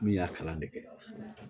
Min y'a kalan de kɛ